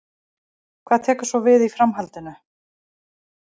Hvað tekur svo við í framhaldinu?